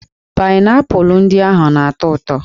Paịnaịpụlụ ndị ahụ na-atọ ụtọ